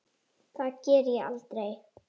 Það geri ég aldrei